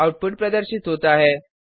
output प्रदर्शित होता है